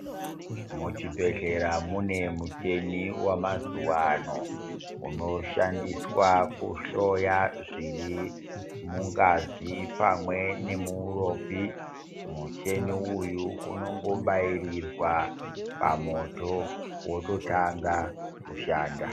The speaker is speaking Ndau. Muzvibhedhlera mune mucheni wamazuvano unoshandiswa kuhloya zviri mungazi pamwe nemuuropi, mucheni uyu unongobairwa moto wototanga kushanda.